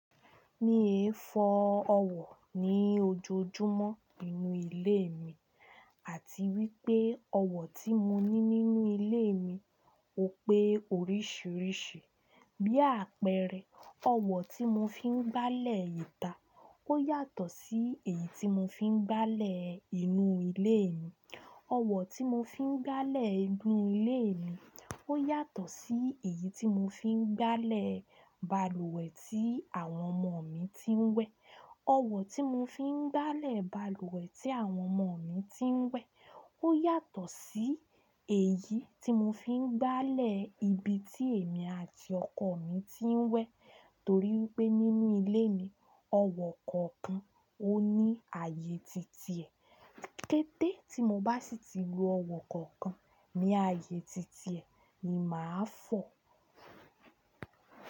Mi è fò ọ̀wọ̀ ní òjòjúmọ̀ ninú ilé mi àti wípé ọ̀wọ̀ tí mo ní nínú ilé mi ó pé oríṣiríṣi bí àpẹrẹ ọ̀wọ̀ tí mo fí n gbálẹ̀ ìtà ó yàtọ̀ sí èyí tí mo fi n gbálẹ̀ inú ilé mi, ọ̀wọ̀ tí mo fi n gbálẹ̀ inú ilé mi ó yàtọ̀ sí èyí tí mo fi n gbálẹ̀ balùwẹ̀ tí àwọn ọmọ mi ti n wẹ, ọ̀wọ̀ tí mo fi n gbálẹ̀ balùwẹ̀ tí àwọn ọmọ mi ti n wẹ ó yàtọ̀ sí èyí tí mo fi n gbálẹ̀ ibi tí èmi àti ọkọ mi ti n wẹ torí wípé nínú ilé mi ọ̀wọ̀ kọ̀ọ̀kan ó ní ààyè titi ẹ, kẹ́tẹ́ tí mo bá sì tí lo ọ̀wọ̀ kookan ní ààyè titi ẹ ni màá fò.